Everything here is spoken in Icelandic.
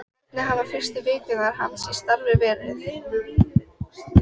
Hvernig hafa fyrstu vikur hans í starfi verið?